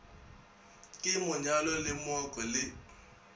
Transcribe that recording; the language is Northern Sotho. ke monyalo le mooko le